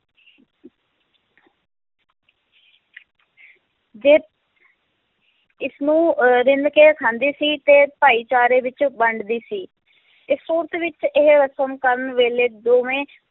ਜੇ ਇਸਨੂੰ ਅਹ ਰਿੰਨ੍ਹ ਕੇ ਖਾਂਦੀ ਸੀ ਤੇ ਭਾਈਚਾਰੇ ਵਿੱਚ ਵੰਡਦੀ ਸੀ, ਇਹ ਸੂਰਤ ਵਿੱਚ ਇਹ ਰਸਮ ਕਰਨ ਵੇਲੇ ਦੋਵੇਂ